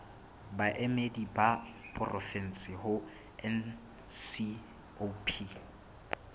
baemedi ba porofensi ho ncop